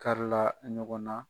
Karila ɲɔgɔn na.